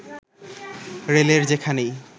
রেলের যেখানেই